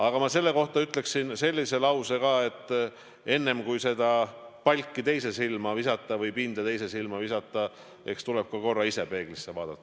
Aga ma selle kohta ütleksin sellise lause ka, et enne, kui palki teise silma visata või pindu teise silma visata, eks tuleb ka korra ise peeglisse vaadata.